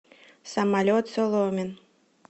самолет соломин